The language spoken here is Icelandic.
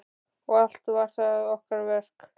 Og allt var það okkar verk.